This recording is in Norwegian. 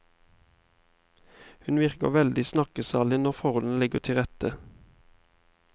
Hun virker veldig snakkesalig når forholdene ligger til rette.